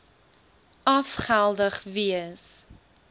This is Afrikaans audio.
af geldig wees